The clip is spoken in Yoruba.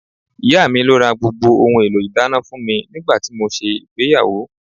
Ìyá mi ló ra gbogbo ohun èlò ìdáná fún mi nígbà tí mo ṣe ìgbéyàwó